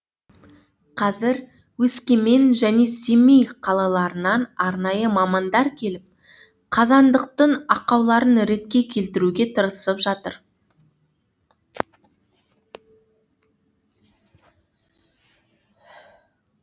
қазір өскемен және семей қалаларынан арнайы мамандар келіп қазандықтың ақауларын ретке келтіруге тырысып жатыр